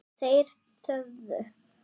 Þeir þögðu.